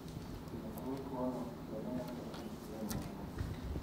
Jotuo tuo no bende nyalo bedo gi spleen maduong'